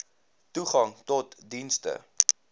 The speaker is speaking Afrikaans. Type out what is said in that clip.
toegang tot dienste